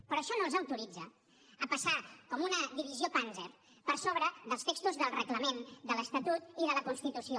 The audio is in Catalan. però això no els autoritza a passar com una divisió panzer per sobre dels textos del reglament de l’estatut i de la constitució